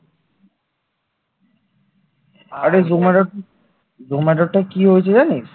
জমাটোর টা কি হয়েছে জানিস